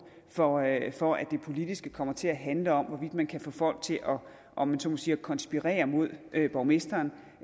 for at for at det politiske kommer til at handle om hvorvidt man kan få folk til at om man så må sige konspirere mod borgmesteren